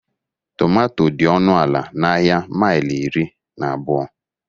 Tomato dị ọnụ ala n'ahịa maili iri na abụọ.